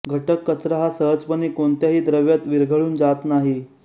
घटक कचरा हा सहजपणे कोणत्याही द्रव्यात विरघळून जात नाही